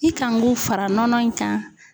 I kan k'o fara nɔnɔ in kan